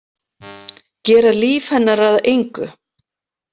Gera líf hennar að engu.